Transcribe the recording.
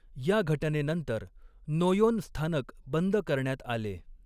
या घटनेनंतर नोयोन स्थानक बंद करण्यात आले.